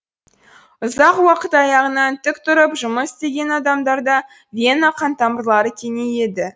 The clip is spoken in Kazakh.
ұзақ уақыт аяғынан тік тұрып жұмыс істеген адамдарда вена қантамырлары кеңейеді